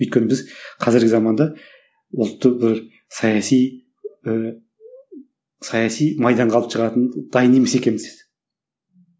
өйткені біз қазіргі заманда ұлтты бөліп саяси ыыы саяси майданға алып шығатын дайын емес екенбіз деді